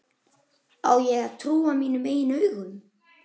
Á ég að trúa mínum eigin augum?